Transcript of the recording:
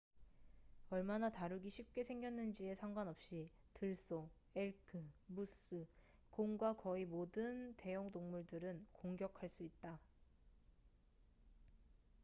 얼마나 다루기 쉽게 생겼는지에 상관없이 들소 엘크 무스 곰과 거의 모든 대형동물들은 공격할 수 있다